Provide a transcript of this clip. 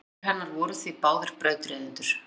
Foreldrar hennar voru því báðir brautryðjendur.